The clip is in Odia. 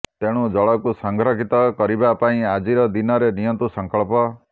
ତେଣୁ ଜଳକୁ ସଂରକ୍ଷିତ କରିବା ପାଇଁ ଆଜିର ଦିନରେ ନିଅନ୍ତୁ ସଂକଳ୍ପ